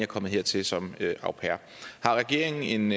kommet hertil som au pair har regeringen